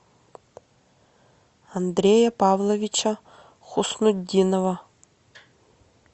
андрея павловича хуснутдинова